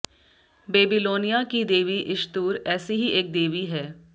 Babylonia की देवी Ishtar ऐसी ही एक देवी है